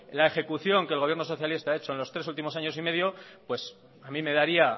la ejecución que el gobierno socialista ha hecho en los tres últimos años y medio pues a mí me daría